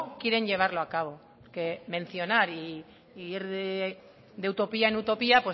quieren llevarlo a cabo que mencionar e ir de utopía en utopía